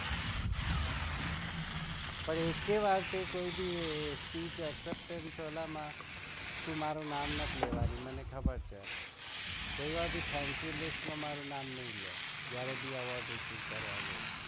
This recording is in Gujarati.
પણ એક પણ વાર તે કોઈ બી speech માં મારુ નામ નાથે લેવાની મને ખબર છે કોઈ વાર બી thank you માં મારું નામ ની હોય